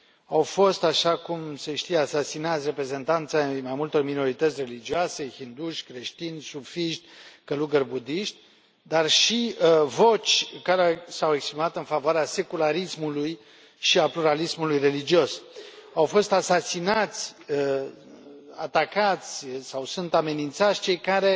Au fost, așa cum se știe, asasinați reprezentanți ai mai multor minorități religioase hinduși, creștini, sufiști, călugări budiști, dar și voci care s au exprimat în favoarea secularismul și a pluralismului religios. Au fost asasinați, atacați sau sunt amenințați cei care